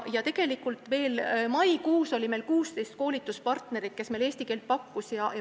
Tegelikult oli veel maikuus meil 16 koolituspartnerit, kes eesti keele õpet pakkusid.